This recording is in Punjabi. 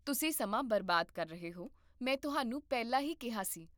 ਤੁਸੀਂ ਸਮਾਂ ਬਰਬਾਦ ਕਰ ਰਹੇ ਹੋ, ਮੈਂ ਤੁਹਾਨੂੰ ਪਹਿਲਾਂ ਹੀ ਕਿਹਾ ਸੀ